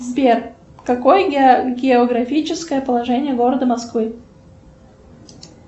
сбер какое географическое положение города москвы